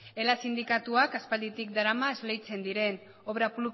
ela sindikatuak aspalditik darama esleitzen diren obra